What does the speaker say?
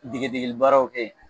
Degedegelibaaraw kɛ yen